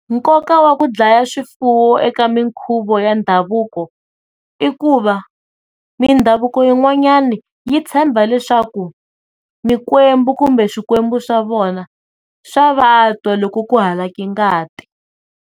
Nkoka wa ku dlaya swifuwo eka minkhuvo ya ndhavuko i ku va mindhavuko yin'wanyani yi tshemba leswaku mikwembu kumbe swikwembu swa vona swa vatwa loko ku halake ngati.